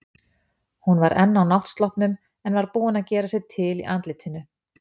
Hún var enn á náttsloppnum, en var búin að gera sig til í andlitinu.